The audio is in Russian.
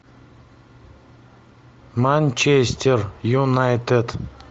манчестер юнайтед